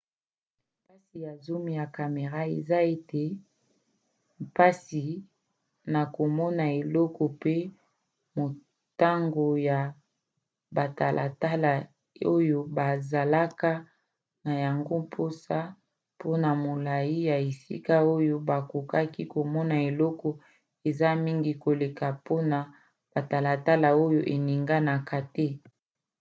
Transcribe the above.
mpasi ya zoom ya camera eza ete eza mpasi na komona eloko pe motango ya batalatala oyo bazalaka na yango mposa mpona molai ya esika oyo bakoki komona eleko eza mingi koleka mpona batalatala oyo eninganaka te